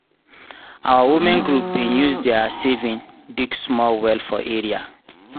our women group bin use diir saving dig small well for area.